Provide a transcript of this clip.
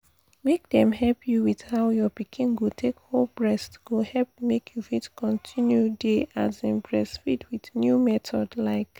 make dem help you with how your pikin go take hold breast go help make you fit continue dey um breastfeed with new method like